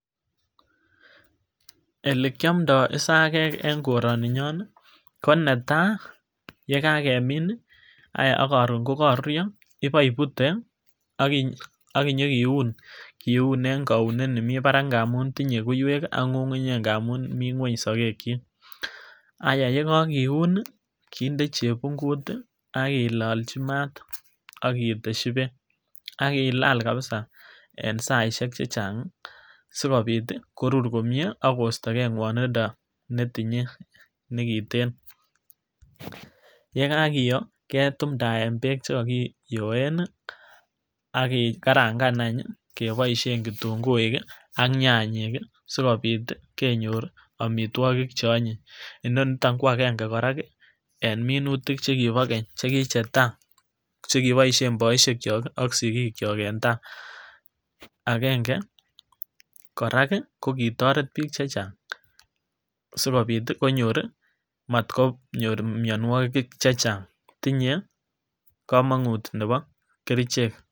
Ele kiomdo isakek en koroni nyon nii ko netai yekakemin nii ayaa ak korun kokokoruryo ibo ibute ak iyo kiun, kiun en kounet nemii barak ngamun tinyee koiwek ak ngungunyek ngamun mii ngueny sokek chik. Ayaa yekokiun nii kinde chepunkut tii ak kilolji maat ak keteshi beek ak killak kilal kabisa en saishek chechang sikobit korur komie akosto gee ngwonindo netinyee nekiten. Yekakiyoo ketumdae beek chekakiyoe nii ak kekaranga anch keboishen kintunguuik ak nyanyik kii sikobit ti kenyor omitwokii cheonyiny, Inoniton ko agenge koraa en minutik chekibo keny chekichetai chekiboishen boishek kyok ak sikikyok en tai, agenge korak kii kokitoret bik chechang sikobit tii konyori, motkonyor mionwokik chechang tiny komongut nebo kerichek.